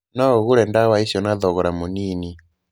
No ũgũre dawa icio na thogora mũnini.